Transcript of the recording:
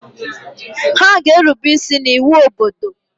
Ha ga-erube isi n’iwu obodo!